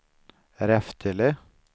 Reftele